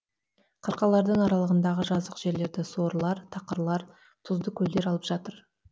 қырқалардың аралығындағы жазық жерлерді сорлар тақырлап тұзды көлдер алып жатыр